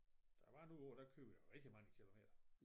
Der var nogle år der kørte jeg rigtig mange kilometer